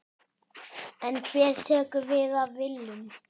En hver tekur við af Willum?